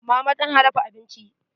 Mama tana dafa abincin.